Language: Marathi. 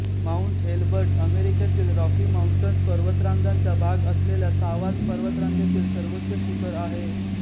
माउंट एल्बर्ट अमेरिकेतील रॉकी माउंटन्स पर्वतरांगांचा भाग असलेल्या सावाच पर्वतरांगेतील सर्वोच्च शिखर आहे